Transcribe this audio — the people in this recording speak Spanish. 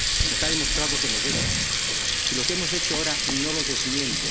está demostrado con los hechos, y lo que hemos hecho ahora no lo desmiente.